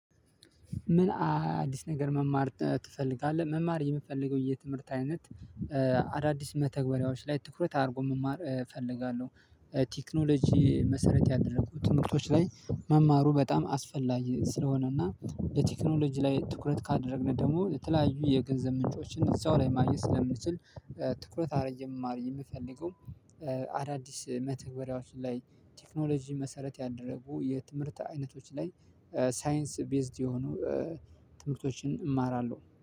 ምን? አዲስ ነገር መማር ትፈልጋለህ መማር የምፈልገው የትምህርት አይነት አዳዲስ መተግበሪያዎች ላይ ትኩረት አድርጎ መማር እፈልጋለሁ። ቴክኖሎጂ መሰረት ያደረጉት ትምህርቶች ላይ መማሩ በጣም አስፈላጊ ስለሆነ እና በቴክኖሎጂ ላይ ትኩረት ካደረግን ደግሞ የተለያዩ የገንዘብ ምንጮችን እዛው ላይ ማግኘት ስለምንችል ትኩረት አድርጌ ነው መማር የምፈልገው። አዳዲስ መተግበሪያዎች ላይ ቴክኖሎጂ መሰረት ያደረጉ የትምህርት አይነቶች ላይ ሳይንስ ቤዝድ የሆኑ ትምህርቶችን እማራለሁ